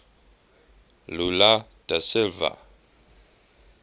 lula da silva